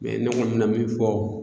ne kɔni bɛna min fɔ